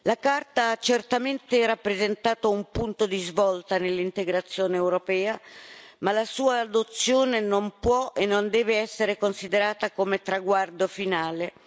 La Carta ha certamente rappresentato un punto di svolta nell'integrazione europea, ma la sua adozione non può e non deve essere considerata come traguardo finale.